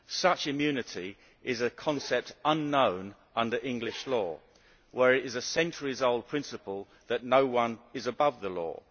Such immunity is a concept unknown under English law, where it is a centuries old principle that no one is above the law.